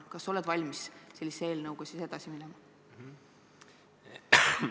Kas sa oled valmis sellise eelnõuga edasi minema?